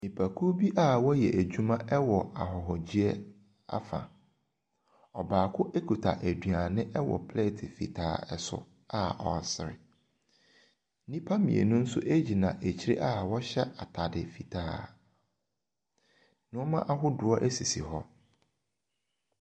Nipakuo bi a wɔyɛ adwuma wɔ ahɔhogyeɛ afa. Ɔbaako kuta aduane wɔ plɛɛte fitaa so a ɔresere. Nnipa mmienu nso gyina akyire a wɔhyɛ atade fitaa. Nneɛma ahodoɔ sisi hɔ.